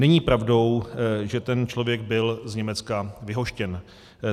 Není pravdou, že ten člověk byl z Německa vyhoštěn.